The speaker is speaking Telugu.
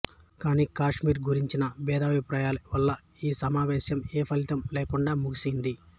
కానీ కాశ్మీర్ గురించిన భేదాభిప్రాయాల వల్ల ఈ సమావేశం ఏ ఫలితం లేకుండా ముగిసింది